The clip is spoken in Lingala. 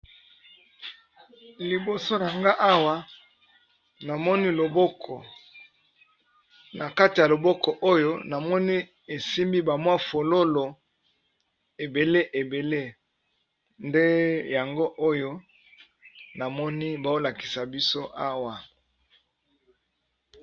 Liboso nanga awa namoni loboko na kati ya loboko oyo namoni esimbi ba mwa fololo ebele ebele nde yango oyo namoni bao lakisa biso awa.